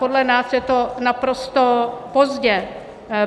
Podle nás je to naprosto pozdě.